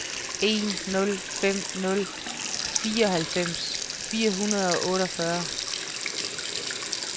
en nul fem nul fireoghalvfems fire hundrede og otteogfyrre